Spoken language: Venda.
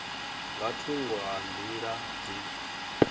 nga thungo ha nḓila dzi